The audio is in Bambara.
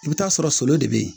I bɛ t'a sɔrɔ solo de bɛ yen